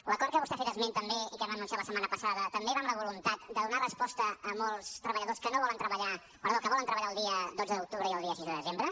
l’acord de què vostè ha fet esment també i que vam anunciar la setmana passa·da també va amb la voluntat de donar resposta a molts treballadors que volen tre·ballar el dia dotze d’octubre i el dia sis de desembre